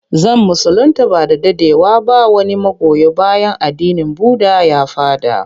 Zan musulinta ba da daɗewa ba wani magoya bayan addinin budda ya faɗa.